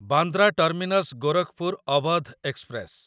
Bandra terminus Gorakhpur Avadh express